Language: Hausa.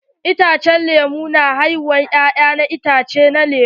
Itace na lemu na haifar ya'ƴan itatuwa na lemu.